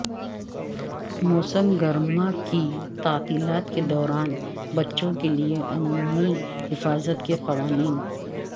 موسم گرما کی تعطیلات کے دوران بچوں کے لئے عمومی حفاظت کے قوانین